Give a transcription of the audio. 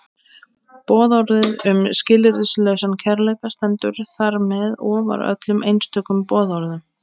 Boðorðið um skilyrðislausan kærleika stendur þar með ofar öllum einstökum boðorðum.